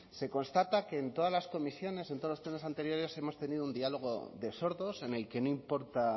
se constata que en todas las comisiones en todos los plenos anteriores hemos tenido un diálogo de sordos en el que no importa